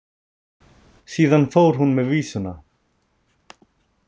Síðan fór hún með vísuna.